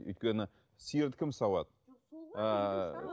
өйткені сиырды кім сауады ыыы